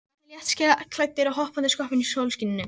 Það eru allir léttklæddir að hoppa og skoppa í sólskininu.